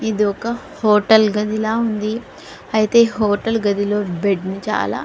ఇది ఒక హోటల్ గది లాగా ఉంది అయితే ఈ హోటల్ గదిలో బెడ్డు చాలా --